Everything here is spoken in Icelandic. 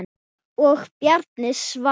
Og Bjarni svarar.